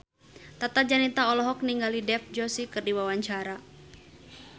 Tata Janeta olohok ningali Dev Joshi keur diwawancara